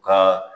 U ka